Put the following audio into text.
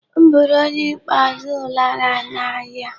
M bụrụ onye ikpeazụ lara ụnyịa.